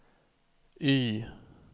Y